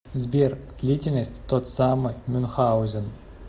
сбер длительность тот самый мюнхаузен